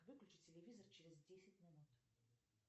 выключи телевизор через десять минут